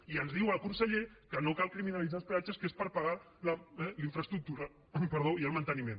i ens diu el conseller que no cal criminalitzar els peatges que és per pagar la infraestructura i el manteniment